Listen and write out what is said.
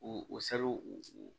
U u salo u